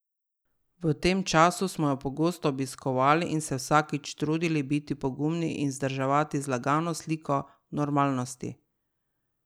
V tem času smo jo pogosto obiskovali in se vsakič trudili biti pogumni in vzdrževati zlagano sliko normalnosti.